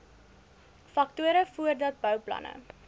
faktore voordat bouplanne